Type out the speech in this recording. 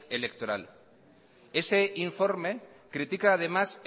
electoral ese informe critica además